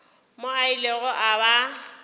mo a ilego a ba